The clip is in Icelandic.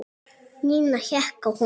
Nína hékk á honum.